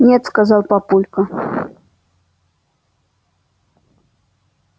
нет сказал папулька